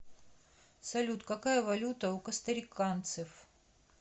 салют какая валюта у костариканцев